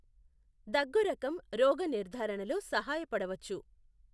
దగ్గు రకం రోగ నిర్ధారణలో సహాయపడవచ్చు.